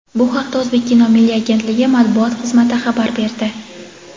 Bu haqda "O‘zbekkino" milliy agentligi matbuot xizmati xabar berdi.